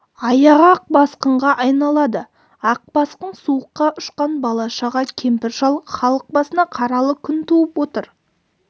аяғы ақ басқынға айналады ақ басқын суыққа ұшқан бала-шаға кемпір-шал халық басына қаралы күн туып отыр